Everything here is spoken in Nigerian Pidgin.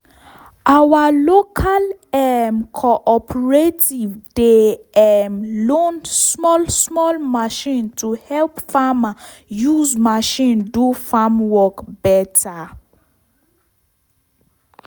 our local um cooperative dey um loan small small machine to help farmer use machine do farm work better.